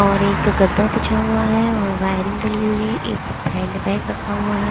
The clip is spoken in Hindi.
और एक गद्दा बिछा हुआ है और वारिंग डाली हुई है एक हैंड बैग रखा हुआ है।